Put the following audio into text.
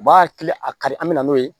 U b'a hakili a kari an bɛ n'o ye